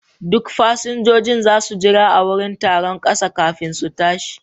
Duk fasinjojin za su jira a wurin taron ƙasa kafin su tashi.